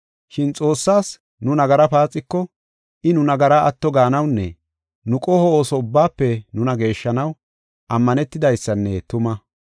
Shin Xoossaas nu nagara paaxiko, I nu nagara atto gaanawunne nu qoho ooso ubbaafe nuna geeshshanaw, ammanetidaysanne tumaa.